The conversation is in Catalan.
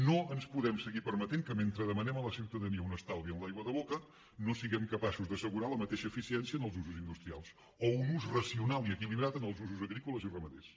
no ens podem seguir permetent que mentre demanem a la ciutadania un estalvi en l’aigua de boca no siguem capaços d’assegurar la mateixa eficiència en els usos industrials o un ús racional i equilibrat en els usos agrícoles i ramaders